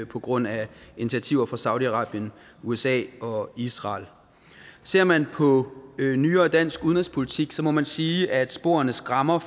på grund af initiativer fra saudi arabien usa og israel ser man på nyere dansk udenrigspolitik må man sige at sporene skræmmer